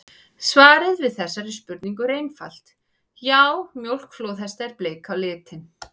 Svarið við þessari spurningu er einfalt: Já, mjólk flóðhesta er bleik á litinn!